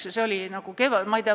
See oli nagu kevadel ...